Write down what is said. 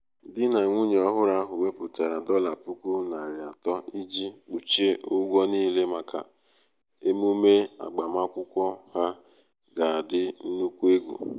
di na nwunye ọhụrụ ahu weputara um dollar puku nari ato iji kpuchie ụgwọ niile maka um emume agbamakwụkwọ ha um ga adi nnukwu egwu